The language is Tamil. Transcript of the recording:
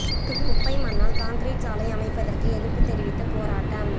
குப்பை மண்ணால் கான்கிரீட் சாலை அமைப்பதற்கு எதிா்ப்புத் தெரிவித்து போராட்டம்